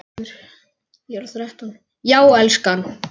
Já, elskan?